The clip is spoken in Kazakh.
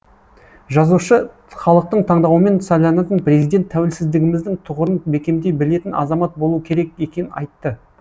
жазушы халықтың таңдауымен сайланатын президент тәуелсіздігіміздің тұғырын бекемдей білетін азамат болуы керек екенін айтты